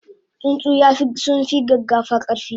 tsuntsu yafi sunfi gaggafa karfi?